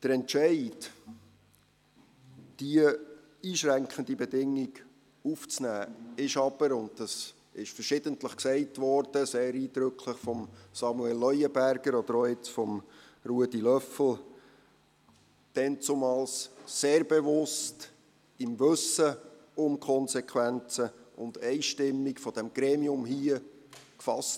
Der Entscheid, diese einschränkende Bedingung aufzunehmen, wurde aber – und das wurde verschiedentlich gesagt, sehr eindrücklich von Samuel Leuenberger oder von Ruedi Löffel – damals sehr bewusst, im Wissen um die Konsequenzen und einstimmig von diesem Gremium hier gefasst.